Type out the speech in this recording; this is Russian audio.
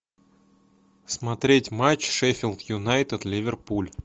смотреть матч шеффилд юнайтед ливерпуль